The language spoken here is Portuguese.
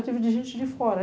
Eu tive de gente de fora.